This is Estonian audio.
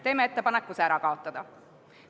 Teeme ettepaneku see ära kaotada.